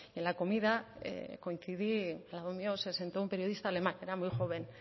en la comida coincidí al lado mío se sentó un periodista alemán era muy joven